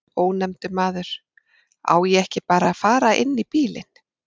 Ónefndur maður: Á ég að fara inn í bílinn?